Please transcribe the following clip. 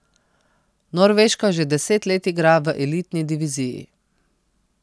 Norveška že deset let igra v elitni diviziji.